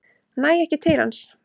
Næ ekki til hans.